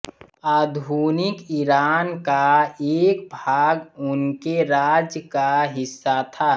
आधुनिक इरान का एक भाग उनके राज्य का हिस्सा था